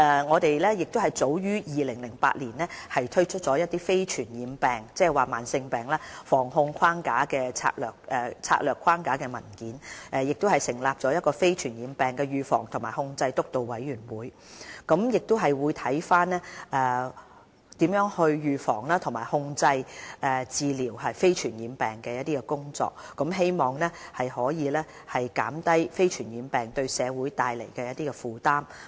我們早於2008年推出《促進健康：香港非傳染病防控策略框架》的文件，亦成立了防控非傳染病督導委員會，檢視如何預防、控制和治療非傳染病的工作，希望可以減低非傳染病對社會造成的負擔。